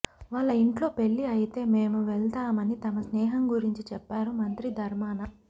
వాళ్ళ ఇంట్లో పెళ్లి అయితే మేము వెళ్తామని తమ స్నేహం గురించి చెప్పారు మంత్రి ధర్మాన